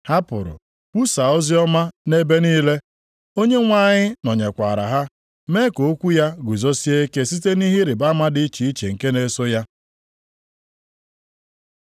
Ha pụrụ kwusaa oziọma nʼebe niile. Onyenwe anyị nọnyekwaara ha, mee ka okwu ya guzosie ike site nʼihe ịrịbama dị iche iche nke na-eso ya.